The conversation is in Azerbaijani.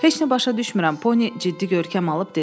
Heç nə başa düşmürəm, Poni ciddi görkəm alıb dedi.